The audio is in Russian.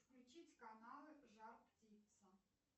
включить каналы жар птица